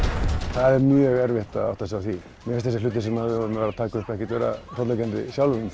það er mjög erfitt að átta sig á því mér finnst þessi hluti sem við vorum að taka upp ekkert vera hrollvekjandi